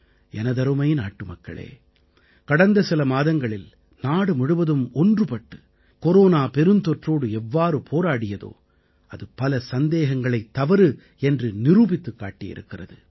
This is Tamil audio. எனதருமை நாட்டுமக்களே கடந்த சில மாதங்களில் நாடு முழுவதும் ஒன்றுபட்டு கொரோனா பெருந்தொற்றோடு எவ்வாறு போராடியதோ அது பல சந்தேகங்களைத் தவறு என்று நிரூபித்துக் காட்டியிருக்கிறது